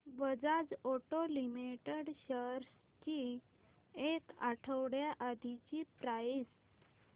Bajaj auto limited shares ची एक आठवड्या आधीची प्राइस